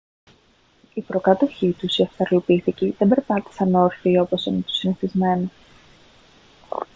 οι προκάτοχοί τους οι αυστραλοπίθηκοι δεν περπάτησαν όρθιοι όπως είναι το συνηθισμένο